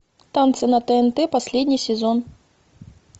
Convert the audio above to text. танцы на тнт последний сезон